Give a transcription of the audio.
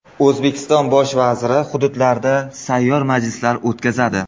O‘zbekiston Bosh vaziri hududlarda sayyor majlislar o‘tkazadi.